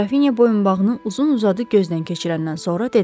Qrafinya boyunbağını uzun-uzadı gözdən keçirəndən sonra dedi.